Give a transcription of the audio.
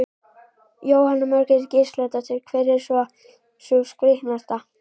Jóhanna Margrét Gísladóttir: Hver er svona sú skrítnasta?